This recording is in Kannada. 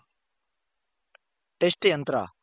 Test ಯಂತ್ರ